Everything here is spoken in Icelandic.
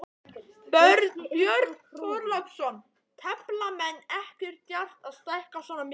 Björn Þorláksson: Tefla menn ekkert djarft að stækka svona mikið?